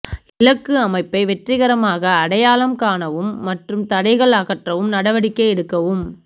இலக்கு அமைப்பை வெற்றிகரமாக அடையாளம் காணவும் மற்றும் தடைகள் அகற்றவும் நடவடிக்கை எடுக்கவும்